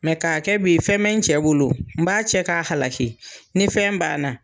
ka kɛ b'i fɛn mɛ n cɛ bolo, n b'a cɛ k'a halaki, ni fɛn banna